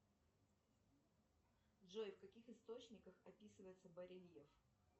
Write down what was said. джой в каких источниках описывается барельеф